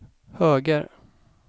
höger